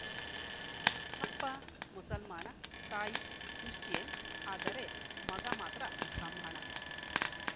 ಅಪ್ಪ ಮುಸಲ್ಮಾನ ತಾಯಿ ಕ್ರಿಶ್ಚಿಯನ್‌ ಆದರೆ ಮಗ ಮಾತ್ರ ಬ್ರಾಹ್ಮಣ